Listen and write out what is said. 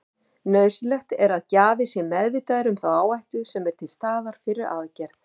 Nauðsynlegt er að gjafi sé meðvitaður um þá áhættu sem er til staðar fyrir aðgerð.